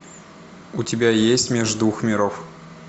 у тебя есть меж двух миров